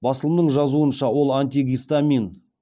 басылымның жазуынша ол антигистамин